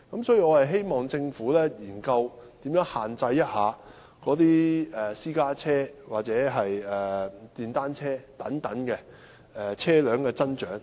所以，我希望政府研究如何限制私家車或電單車等車輛的增長。